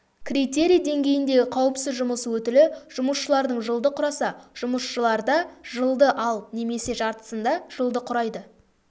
критерий деңгейіндегі қауіпсіз жұмыс өтілі жұмысшылардың жылды құраса жұмысшыларда жылды ал немесе жартысында жылды құрайды